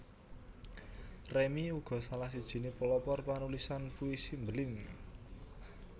Remy uga salah sijiné pelopor panulisan puisi mbeling